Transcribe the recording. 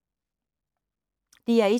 DR1